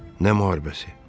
Nə müharibəsi?